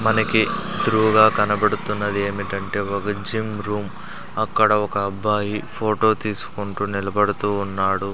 మనకి త్రూగా కనబడుతున్నది ఏమిటంటే ఒక జిమ్ రూమ్ అక్కడ ఒక అబ్బాయి ఫోటో తీసుకుంటూ నిలబడుతూవున్నాడు.